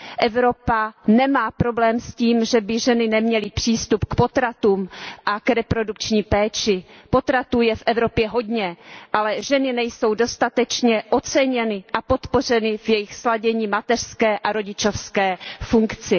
Evropa nemá problém s tím, že by ženy neměly přístup k potratům a k reprodukční péči, potratů je v Evropě hodně, ale ženy nejsou dostatečně oceněny a podpořeny v jejich sladění mateřské a rodičovské funkce.